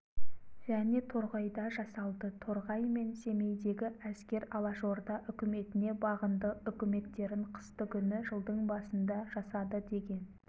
және торғайда жасалды торғай мен семейдегі әскер алашорда үкіметіне бағынды үкіметтерін қыстыгүні жылдың басында жасады деген